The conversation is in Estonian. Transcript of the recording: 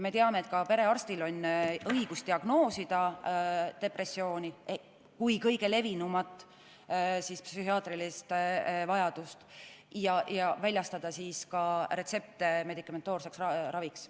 Me teame, et ka perearstil on õigus diagnoosida depressiooni kui kõige levinumat psühhiaatrilist häiret ja väljastada retsepte medikamentoosseks raviks.